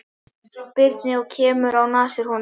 Birni og kemur á nasir honum.